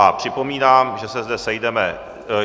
A připomínám, že se zde sejdeme...